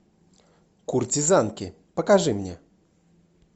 куртизанки покажи мне